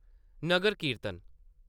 नगर कीर्तन